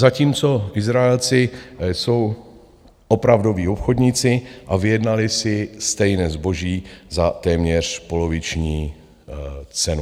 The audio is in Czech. Zatímco Izraelci jsou opravdoví obchodníci a vyjednali si stejné zboží za téměř poloviční cenu.